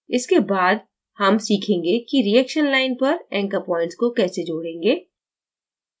इसके बाद हम सीखेंगे कि reaction line पर anchor points को कैसे जोड़ेंगे